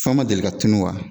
Fɛnw ma deli tunu wa ?